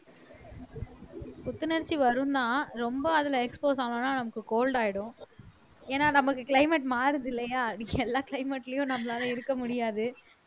புத்துணர்ச்சி வரும்ன்னா ரொம்ப அதுல expose ஆனோம்ன்னா நமக்கு cold ஆயிடும் ஏன்னா நமக்கு climate மாறுது இல்லையா எல்லா climate லயும் நம்மளால இருக்க முடியாது